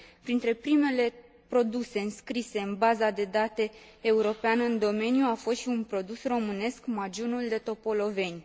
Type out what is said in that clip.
Printre primele produse înscrise în baza de date europeană în domeniu a fost și un produs românesc, magiunul de Topoloveni.